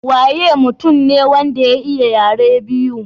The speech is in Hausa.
Waye mutum ne wanda ya iya yare biyu?